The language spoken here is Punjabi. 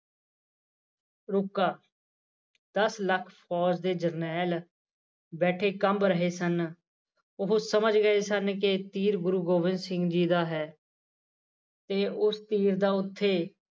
ਰੁੱਕਾ ਦੱਸ ਲੱਖ ਫੌਜ ਦੇ ਜਰਨੈਲ ਬੈਠੇ ਕੰਬ ਰਹੇ ਸਨ ਉਹ ਸਮਝ ਗਏ ਸਨ ਕਿ ਤੀਰ ਗੁਰੂ ਗੋਬਿੰਦ ਜੀ ਦਾ ਹੈ ਤੇ ਉਸ ਤੀਰ ਦਾ ਉੱਥੇ